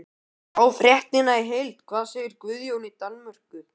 Sjá fréttina í heild: Hvað segir Guðjón í Danmörku?